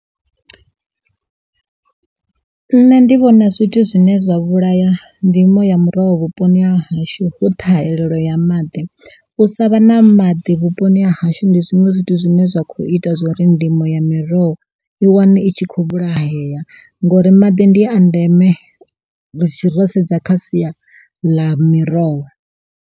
Nṋe ndi vhona zwithu zwine zwa vhulaya ndimo ya muroho vhuponi ha hashu hu ṱhahelelo ya maḓi, u sa vha na maḓi vhuponi ha hashu ndi zwiṅwe zwithu zwine zwa kho ita zwori ndimo ya miroho i wane itshi kho vhulahea ngori maḓi ndi a ndeme ro sedza kha sia ḽa miroho.